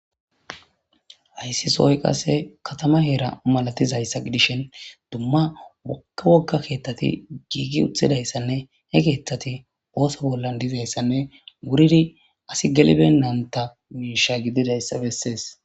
Hayssi soy qase katama heera malatizayssa gidishen dumma wokka wogga keeththati giigi uthidayssanne he keeththati ooso bollan dizayssanne wuridi asi gelibennanta miisha gididayssa bessees.